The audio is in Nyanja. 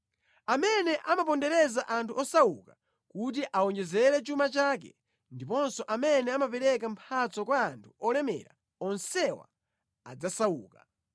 Amene amapondereza anthu osauka kuti awonjezere chuma chake, ndiponso amene amapereka mphatso kwa anthu olemera onsewa adzasauka.